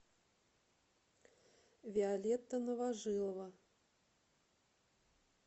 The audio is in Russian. виолетта новожилова